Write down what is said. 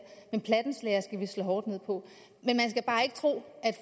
men plattenslagerne skal vi slå hårdt ned på men man skal bare ikke tro